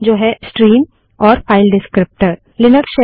जो है स्ट्रीम और फाइल डिस्क्रीप्टर विवरणक